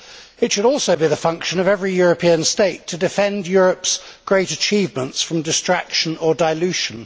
It should also be the function of every European state to defend Europe's great achievements from distraction or dilution.